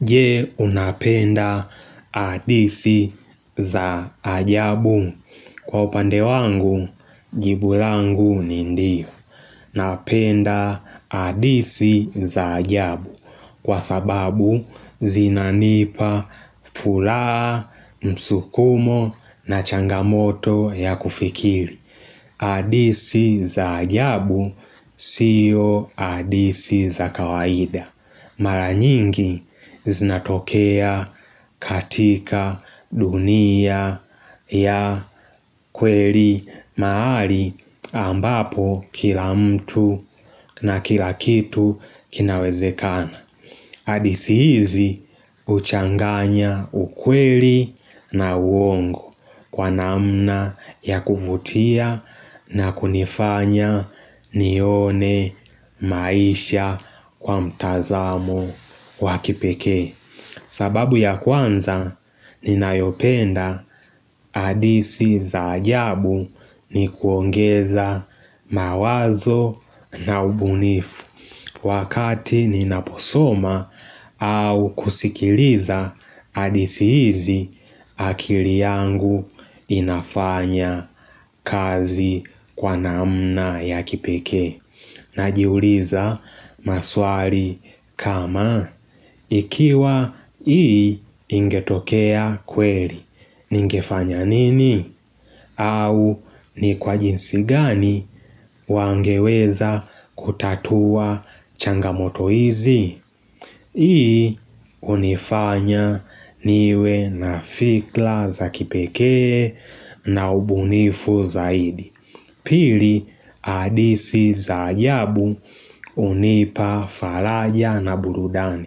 Je unapenda hadithi za ajabu kwa upande wangu, jibu langu ni ndio Napenda hadithi za ajabu kwa sababu, zinanipa furaha, msukumo na changamoto ya kufikiri hadithi za ajabu, sio hadithi za kawaida Mara nyingi zinatokea katika dunia ya kweli mahali ambapo kila mtu na kila kitu kinawezekana. Hadithi hizi huchanganya ukweli na uongo kwa namna ya kuvutia na kunifanya nione maisha kwa mtazamo wa kipekee sababu ya kwanza, ninayopenda hadithi za ajabu ni kuongeza mawazo na ubunifu. Wakati ninaposoma au kusikiliza hadithi hizi, akili yangu inafanya kazi kwa namna ya kipekee. Najiuliza maswali kama. Ikiwa hii ingetokea kweli. Ningefanya nini? Au ni kwa jinsi gani wangeweza kutatua changamoto hizi? Hii hunifanya niwe na fikra za kipekee na ubunifu zaidi Pili hadithi za ajabu hunipa faraja na burudani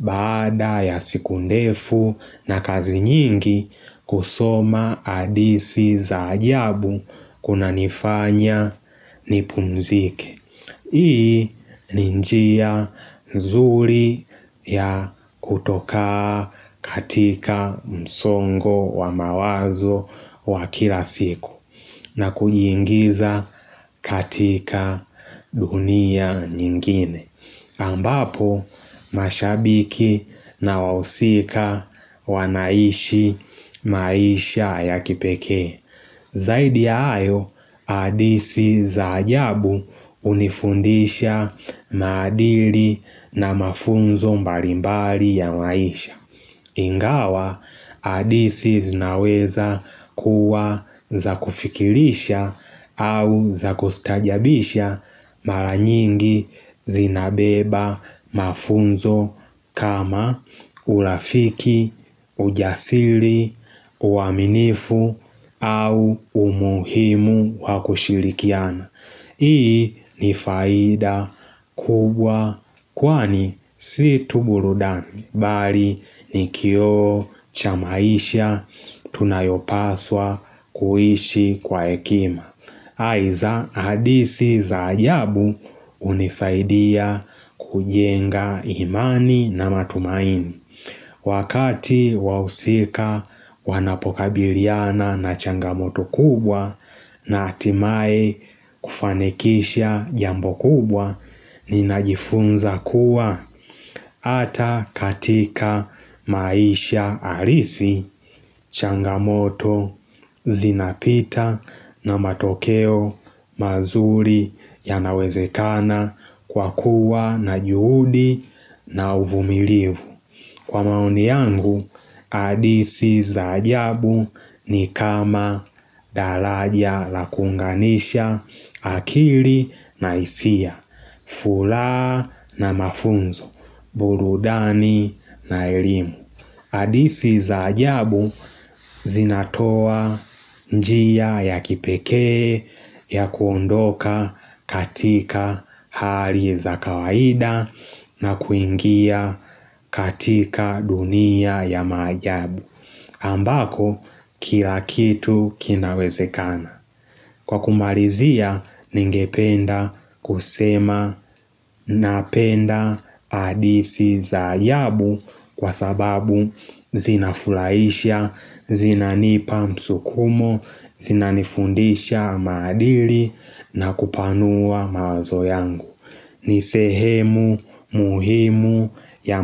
Baada ya siku ndefu na kazi nyingi kusoma hadithi za ajabu kunanifanya nipumzike Hii ni njia nzuri ya kutoka katika msongo wa mawazo wa kila siku na kujiingiza katika dunia ingine. Ambapo mashabiki na wahusika wanaishi maisha ya kipekee Zaidi ya hayo hadithi za ajabu hunifundisha maadili na mafunzo mbalimbali ya maisha Ingawa hadithi zinaweza kuwa za kufikilisha au za kustajabisha mara nyingi zinabeba mafunzo kama urafiki, ujasiri, uaminifu au umuhimu wa kushirikiana. Hii ni faida kubwa kwani si tu burudani. Bali ni kioo cha maisha tunayopaswa kuishi kwa hekima. Aidha, hadithi za ajabu hunisaidia kujenga imani na matumaini. Wakati wahusika wanapokabiliana na changamoto kubwa na hatimaye kufanikisha jambo kubwa ninajifunza kuwa hata katika maisha halisi changamoto zinapita na matokeo mazuri yanawezekana kwa kuwa na juhudi na uvumilivu Kwa maoni yangu, hadithi za ajabu ni kama daraja la kuunganisha, akili na hisia, furaha na mafunzo, burudani na elimu. Hadithi za ajabu zinatoa njia ya kipekee ya kuondoka katika hali za kawaida na kuingia katika dunia ya maajabu ambapo kila kitu kinawezekana Kwa kumalizia, ningependa kusema napenda hadithi za ajabu kwa sababu zinafurahisha, zinanipa msukumo, zinanifundisha maadili na kupanua mawazo yangu. Ni sehemu muhimu ya.